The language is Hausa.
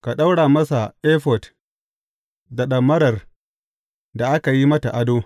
Ka ɗaura masa efod da ɗamarar da aka yi mata ado.